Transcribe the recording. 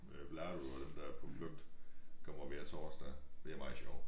Øh Vlado og dem der er på flugt kommer hver torsdag. Det er meget sjovt